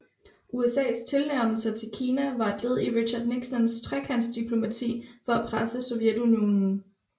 USAs tilnærmelser til Kina var et led i Richard Nixons trekantsdiplomati for at presse Sovjetunionen